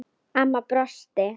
Amma brosti.